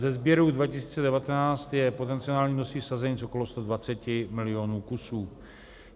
Ze sběrů 2019 je potenciální množství sazenic okolo 120 milionů kusů.